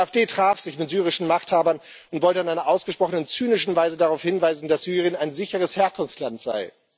Die AfD traf sich mit syrischen Machthabern und wollte in einer ausgesprochen zynischen Weise darauf hinweisen, dass Syrien ein sicheres Herkunftsland sei.